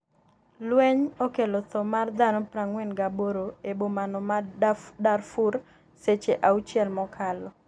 lweny okelo tho mar dhano 48 e bomano ma Darfur seche auchiel mokalo